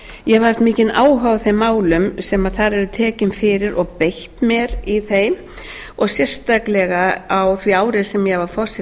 ég hef haft mikinn áhuga á þeim málum sem þar eru tekin fyrir og beitt mér í þeim og sérstaklega á því ári sem ég var